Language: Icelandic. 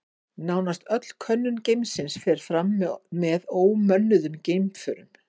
Nánast öll könnun geimsins fer fram með ómönnuðum geimförum.